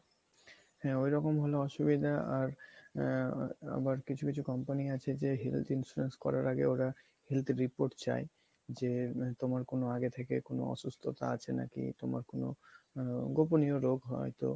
হ্যাঁ ওইরকম হলে অসুবিধা আর আহ আবার কিছু কিছু company আছে যে health insurance করার আগে ওরা health report চায় যে তোমার কোনো আগে থেকে কোনো অসুস্থতা আছে নাকি তোমার কোনো গোপনীয় রোগ হয়তো